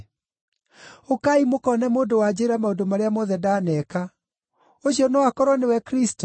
“Ũkai, mũkone mũndũ wanjĩĩra maũndũ marĩa mothe ndaaneka. Ũcio no akorwo nĩwe Kristũ?”